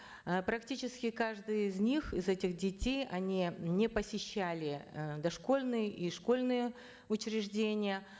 э практически каждый из них из этих детей они не посещали э дошкольные и школьные учреждения